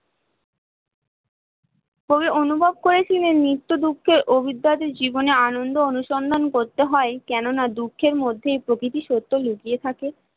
কবি অনুভব করে ছিলেন নৃত্য দুঃখের অবিদ্যা জীবনে আনন্দ অনুসন্ধান করতে হয় কেননা দুঃখের মধ্যে প্রকৃতি সত্য লুকিয়ে থাকে